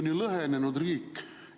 See on lõhenenud riik.